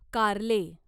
कारले